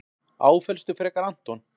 Áfellstu frekar Anton.